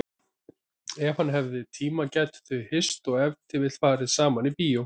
Ef hann hefði tíma gætu þau hist og ef til vill farið saman í bíó.